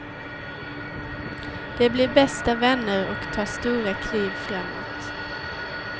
De blir bästa vänner och tar stora kliv framåt.